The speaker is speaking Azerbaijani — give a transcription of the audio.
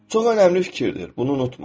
Çox önəmli fikirdir, bunu unutma.